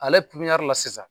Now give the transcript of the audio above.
Ale la sisan.